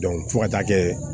fo ka taa kɛ